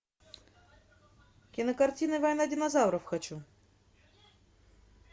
кинокартина война динозавров хочу